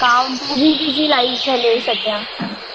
काम busy busy life झालीये सध्या.